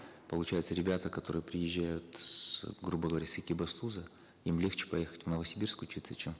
получается ребята которые приезжают с грубо говоря с экибастуза им легче поехать в новосибирск учиться чем в